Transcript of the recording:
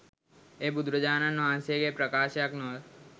එය බුදුරජාණන් වහන්සේගේ ප්‍රකාශයක් නොව